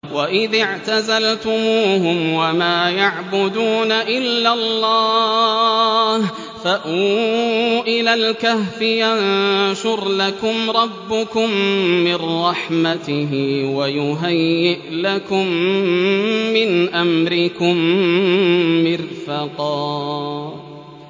وَإِذِ اعْتَزَلْتُمُوهُمْ وَمَا يَعْبُدُونَ إِلَّا اللَّهَ فَأْوُوا إِلَى الْكَهْفِ يَنشُرْ لَكُمْ رَبُّكُم مِّن رَّحْمَتِهِ وَيُهَيِّئْ لَكُم مِّنْ أَمْرِكُم مِّرْفَقًا